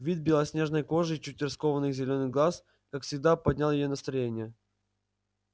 вид белоснежной кожи и чуть раскованных зелёных глаз как всегда поднял ей настроение